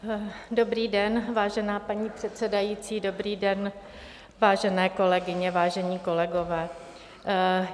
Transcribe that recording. Dobrý den, vážená paní předsedající, dobrý den, vážené kolegyně, vážení kolegové.